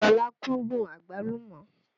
Sọlá kúndùn Àgbálùmọ́